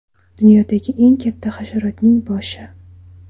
Dunyodagi eng katta hasharotning boshi.